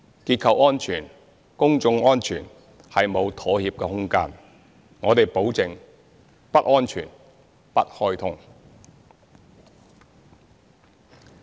結構安全、公眾安全沒有妥協的空間，我們保證：不安全，不開通。